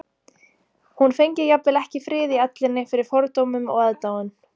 Hún fengi jafnvel ekki frið í ellinni fyrir fordómum og aðdáun